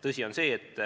Tõsi on see, et